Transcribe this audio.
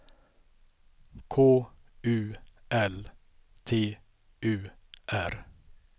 K U L T U R